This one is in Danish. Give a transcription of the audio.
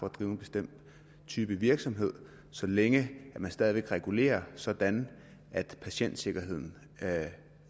at drive en bestemt type virksomhed så længe det stadig væk reguleres sådan at patientsikkerheden